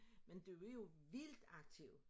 Men du er jo vildt aktiv